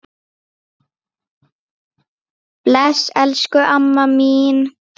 Bless, elsku amma mín.